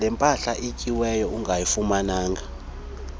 lempahla ethinjiweyo ungayifumana